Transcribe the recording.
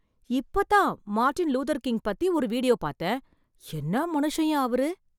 இப்ப தான் Martin Luther King பத்தி ஒரு வீடியோ பார்த்தேன். என்ன மனுஷன்யா அவரு !